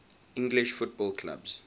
english football clubs